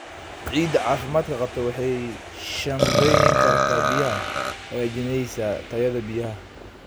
Ciidda caafimaadka qabta waxay shaandhayn kartaa biyaha, hagaajinaysaa tayada biyaha.